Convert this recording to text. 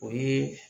O ye